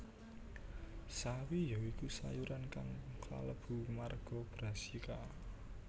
Sawi ya iku sayuran kang kalebu marga Brassica